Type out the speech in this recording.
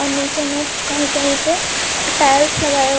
furniture में कहीं कहीं पे टाइल्स लगाया --